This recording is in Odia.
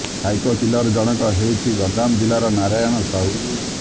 ସାଇକୋ କିଲର ଜଣକ ହେଉଛି ଗଞ୍ଜାମ ଜିଲ୍ଲାର ନାରାୟଣ ସାହୁ